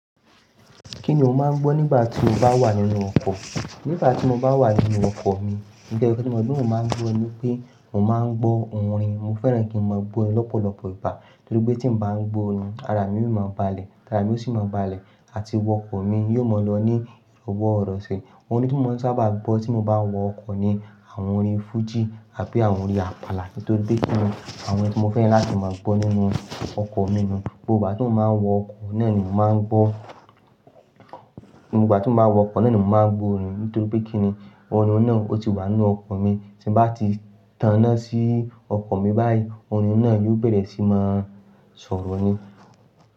Kí ni o máa ń gbọ́ nígbà tí o bá wà nínú ọkọ̀? Nígbà tí mo bá wà nínú ọkọ̀ mi, ǹkan ka n tí mo máa ń gbọ́ ni pé mo máa ń gbọ́ orin. Mo fẹ́ràn kí n máa gbọ́ orin lọ́pọ̀lọpọ̀ ìbà nítorí pé tí mo bá ń gbọ́ orin, ara mi yóò máa balẹ̀, ara òṣì máa balẹ̀ àti ọkọ̀ mi yóò mọ̀ lọ ní ìrọ̀wọ́ ọ̀rọ̀ ṣe. Àwọn orin tí mo sábà gbọ́ tí mo bá wọ ọkọ̀ ni àwọn orin fújì àbí àwọn orin àpàlà nítorí pé kí ni àwọn ẹni tí mo fẹ́ láti máa gbọ́ nínú ọkọ̀ mi ni gbogbo ìgbà tí mo máa ń wọ ọkọ̀ náà ni mo máa ń gbọ́. Ní gbogbo ìgbà tí mo bá wọ ọkọ̀ náà ni mo máa ń gbọ́ orin nítorí pé kí ni orin náà ó ti wà nínú ọkọ̀ mi. Tí bá ti tanná sí ọkọ̀ mi báyìí, orin náà yóò bẹ̀rẹ̀ sí máa sọ̀rọ̀ ni.